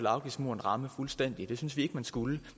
afgiftsmuren ramme fuldstændig det synes vi ikke man skulle